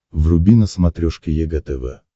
вруби на смотрешке егэ тв